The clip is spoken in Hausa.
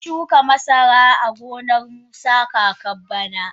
Sun shuka masara a gonar musa kakar bara.